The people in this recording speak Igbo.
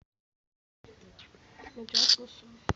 Ọnyá zuchara akwụkwọ nri niile ahụ?